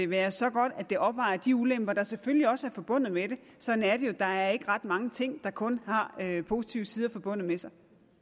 være så godt at det opvejer de ulemper der selvfølgelig også er forbundet med det sådan er det jo der er ikke ret mange ting der kun har positive sider forbundet med sig